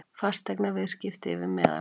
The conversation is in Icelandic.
Fasteignaviðskipti yfir meðallagi